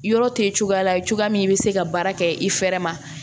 Yɔrɔ tɛ cogoya la cogoya min i bɛ se ka baara kɛ i fɛɛrɛ ma